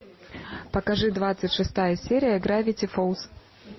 покажи двадцать шестая серия гравити фолз